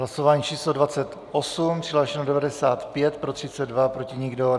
Hlasování číslo 28, přihlášeno 95, pro 32, proti nikdo.